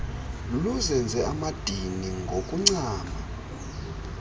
luzenze amadini ngokuncama